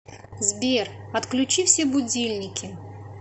сбер отключи все будильники